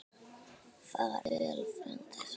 Far vel, frændi sæll.